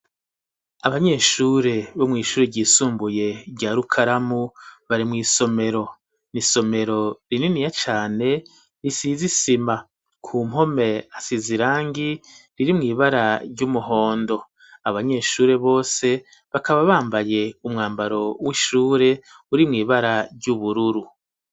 Abanyeshure bo mw' ishuri ryisumbuye rya rukaramu, bari mu isomero, n’isomero rininiya cane risizisima, ku mpome hasiz irangi riri mw'ibara ry'umuhondo, abanyeshuri bose bakaba bambaye umwambaro w'ishure uri mw'ibara ry'ubururu.